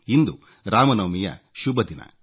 ಇಂದು ರಾಮನವಮಿಯ ಶುಭದಿನ